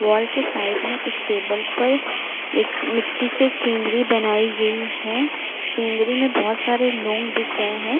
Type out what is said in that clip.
Wall के side में एक टेबल पर एक मिट्टी से सीनरी बनाई गई है। सिनरी में बहोत सारे लोग दिख रहे हैं।